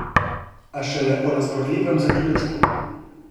A šele o razburljivem zaključku.